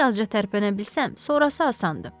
Bir azca tərpənə bilsəm, sonrası asandır.